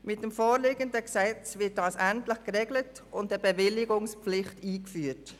Mit dem vorliegenden Gesetz wird diese Situation endlich geregelt und eine Bewilligungspflicht eingeführt.